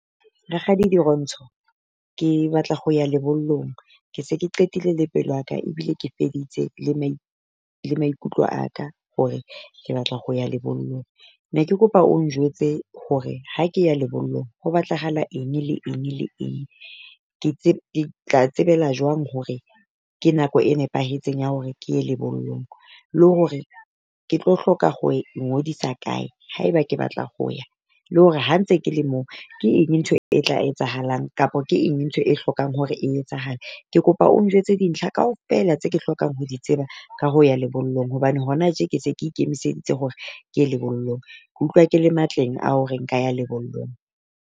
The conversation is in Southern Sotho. Rakgadi Dirontsho, ke batla ho ya lebollong ke se ke qetile le pelo ya ka ebile ke feditse le le maikutlo a ka hore ke batla ho ya lebollong, ne ke kopa o njwetse hore ha ke ya lebollong ho batlahala eng le eng le eng. Ke tla tsebella jwang hore ke nako e nepahetseng ya hore ke ye lebollong le hore ke tlo hloka ho ngodisa kae? Haeba ke batla ho ya le hore ha ntse ke le moo ke eng ntho e tla etsahalang? Kapa ke eng ntho e hlokang hore e etsahale? Ke kopa o njwetse dintlha kaofela tse ke hlokang ho di tseba ka ho ya lebollong, hobane hona tje ke se ke ikemiseditse hore ke lebollong ke utlwa ke le matleng a hore nka ya lebollong.